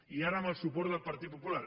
i ara amb el suport del partit popular